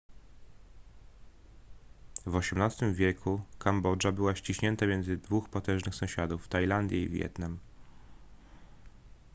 w xviii wieku kambodża była ściśnięta między dwóch potężnych sąsiadów tajlandię i wietnam